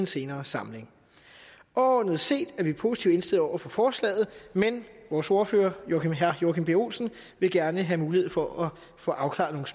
senere samling overordnet set er vi positivt indstillet over for forslaget men vores ordfører herre joachim b olsen vil gerne have mulighed for at få afklaret